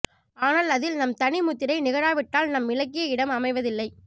ஆனால் அதில் நம் தனிமுத்திரை நிகழாவிட்டால் நம் இலக்கிய இடம் அமைவதில்லை